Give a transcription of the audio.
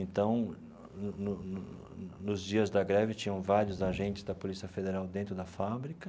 Então, no no no no nos dias da greve, tinham vários agentes da Polícia Federal dentro da fábrica.